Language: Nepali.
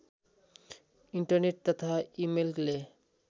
इन्टरनेट तथा इमेलले